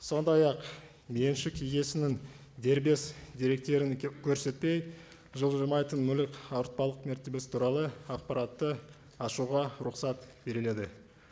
сондай ақ меншік иесінің дербес деректерін көрсетпей жылжымайтын мүлік ауыртпалық мәртебесі туралы ақпаратты ашуға рұқсат беріледі